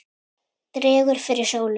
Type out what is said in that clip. Dregur fyrir sólu